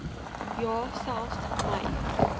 ja selfs my